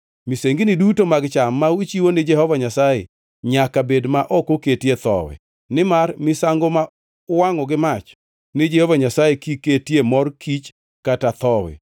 Misengini duto mag cham ma uchiwo ni Jehova Nyasaye nyaka bed ma ok oketie thowi, nimar misango ma uwangʼo gi mach ni Jehova Nyasaye kik ketie mor kich kata thowi.